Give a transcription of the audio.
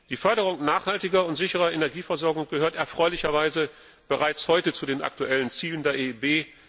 Die Förderung nachhaltiger und sicherer Energieversorgung gehört erfreulicherweise bereits heute zu den aktuellen Zielen der EIB.